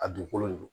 A dugukolo de do